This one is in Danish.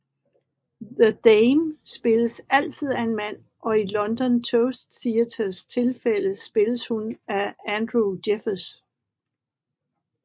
The Dame spilles altid af en mand og i London Toast Theatres tilfælde spilles hun af Andrew Jeffers